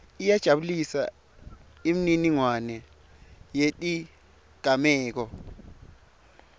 iyajabulisa imininingwane yetigameko